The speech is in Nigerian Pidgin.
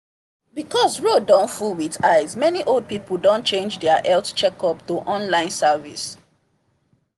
because road don full with ice many old people don change their health checkup to online service